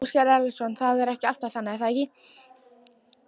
Ásgeir Erlendsson: Það er alltaf þannig er það ekki?